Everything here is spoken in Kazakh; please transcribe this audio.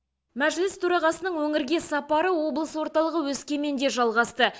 мәжіліс төрағасының өңірге сапары облыс орталығы өскеменде жалғасты